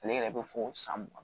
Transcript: Ale yɛrɛ bɛ fo san mugan